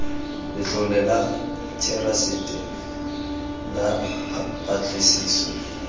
letlole la therasete la patlisiso